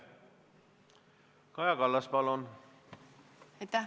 Kaja Kallas, palun!